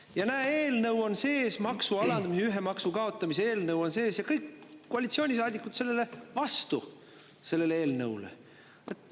Ja näe, maksu alandamise, ühe maksu kaotamise eelnõu on ja kõik koalitsioonisaadikud on selle eelnõu vastu.